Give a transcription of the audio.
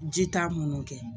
Ji t'a minnu kɛ